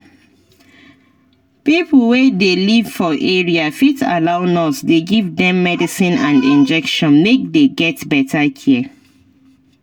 pipo wey dey live for area fit allow nurse dey give dem medicine and injection make dey get better care